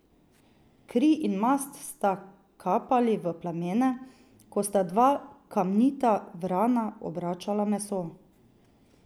Kri in mast sta kapali v plamene, ko sta dva Kamnita vrana obračala meso.